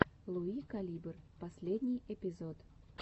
луи калибр последний эпизод